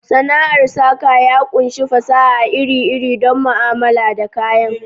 Sana'ar saka ya ƙunshi fasaha iri-iri don mu'amala da kayan.